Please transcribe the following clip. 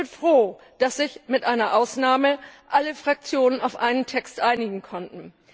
Ich bin froh, dass sich mit einer Ausnahme alle Fraktionen auf einen Text einigen konnten.